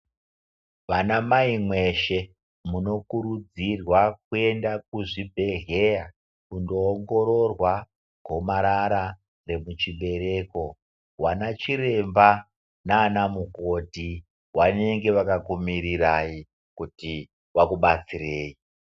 Vana mai veshe munokurudzirwa kuenda kuzvibhedhlera kundoongororwa kobara vemuchibereko vana chiremba nana mukoti vanoenda vakakumirirai kuti Vakubatsirei.